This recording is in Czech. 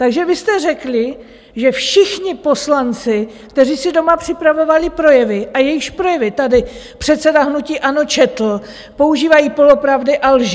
Takže vy jste řekli, že všichni poslanci, kteří si doma připravovali projevy a jejichž projevy tady předseda hnutí ANO četl, používají polopravdy a lži!